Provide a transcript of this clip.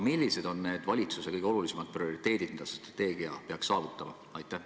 Millised on need valitsuse prioriteedid, mida selle strateegiaga peaks saavutama?